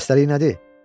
Xəstəlik nədir?